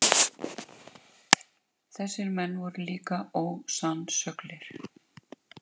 Hann er búinn að festa sig í vinnu og húsnæði í Keflavík.